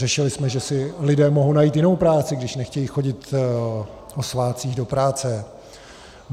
Řešili jsme, že si lidé mohou najít jinou práci, když nechtějí chodit o svátcích do práce.